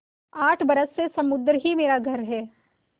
आठ बरस से समुद्र ही मेरा घर है